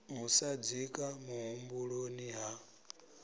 u sa dzika muhumbuloni ha